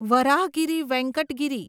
Varahagiri Venkata Giri